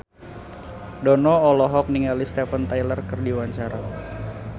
Dono olohok ningali Steven Tyler keur diwawancara